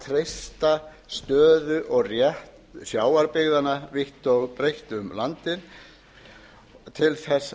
treysta stöðu og rétt sjávarbyggðanna vítt og breitt um landið til þess